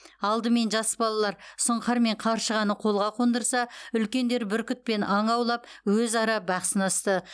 алдымен жас балалар сұңқар мен қаршығаны қолға қондырса үлкендер бүркітпен аң аулап өзара бақ сынасты